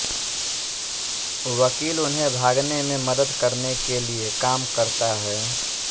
वकील उन्हें भागने में मदद करने के लिए काम करता है